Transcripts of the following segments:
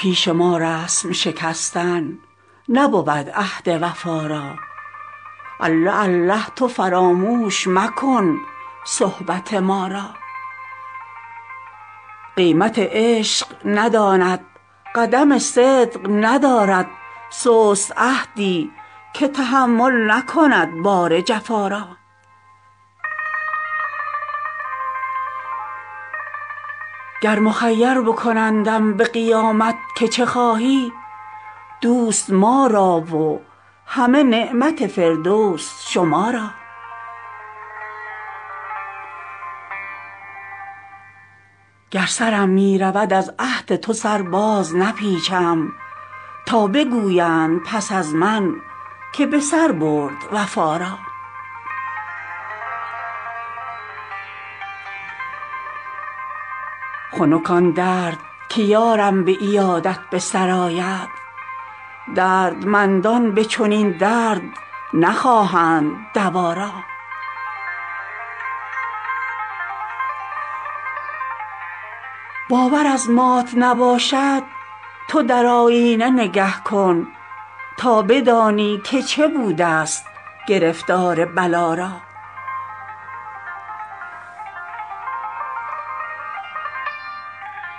پیش ما رسم شکستن نبود عهد وفا را الله الله تو فراموش مکن صحبت ما را قیمت عشق نداند قدم صدق ندارد سست عهدی که تحمل نکند بار جفا را گر مخیر بکنندم به قیامت که چه خواهی دوست ما را و همه نعمت فردوس شما را گر سرم می رود از عهد تو سر بازنپیچم تا بگویند پس از من که به سر برد وفا را خنک آن درد که یارم به عیادت به سر آید دردمندان به چنین درد نخواهند دوا را باور از مات نباشد تو در آیینه نگه کن تا بدانی که چه بودست گرفتار بلا را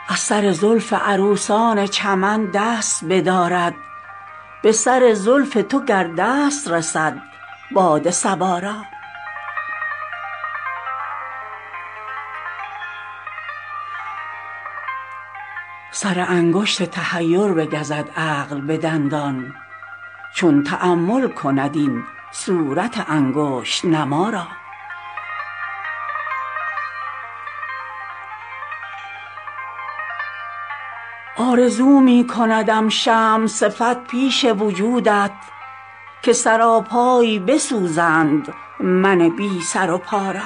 از سر زلف عروسان چمن دست بدارد به سر زلف تو گر دست رسد باد صبا را سر انگشت تحیر بگزد عقل به دندان چون تأمل کند این صورت انگشت نما را آرزو می کندم شمع صفت پیش وجودت که سراپای بسوزند من بی سر و پا را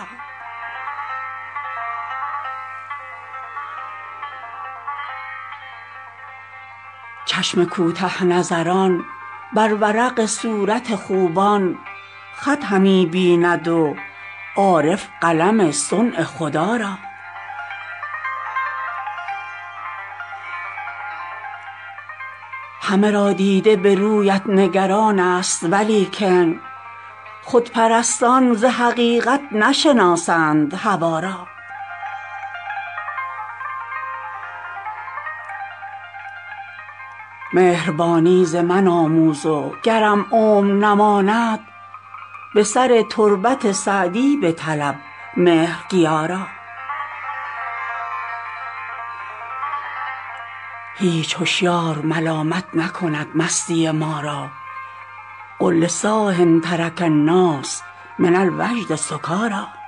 چشم کوته نظران بر ورق صورت خوبان خط همی بیند و عارف قلم صنع خدا را همه را دیده به رویت نگران ست ولیکن خودپرستان ز حقیقت نشناسند هوا را مهربانی ز من آموز و گرم عمر نماند به سر تربت سعدی بطلب مهرگیا را هیچ هشیار ملامت نکند مستی ما را قل لصاح ترک الناس من الوجد سکاریٰ